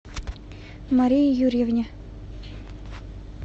марии юрьевне